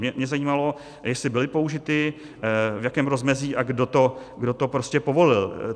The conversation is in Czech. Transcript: Mě zajímalo, jestli byly použity, v jakém rozmezí a kdo to prostě povolil.